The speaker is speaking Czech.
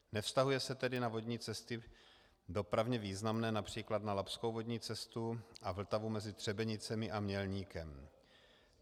Nevztahuje se tedy na vodní cesty dopravně významné, například na labskou vodní cestu a Vltavu mezi Třebenicemi a Mělníkem.